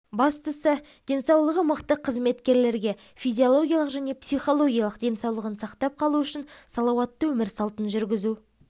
бастысы денсаулығы мықты қызметкерге физиологиялық және психологиялық денсаулығын сақтап қалу үшін салауатты өмір салтын жүргізу